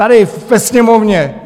Tady ve Sněmovně.